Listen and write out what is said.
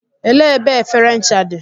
Elee ebe efere ncha dị?